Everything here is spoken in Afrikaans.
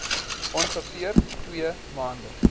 ongeveer twee maande